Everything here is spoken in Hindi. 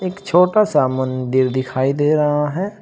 एक छोटा सा मंदिर दिखाई दे रहा है।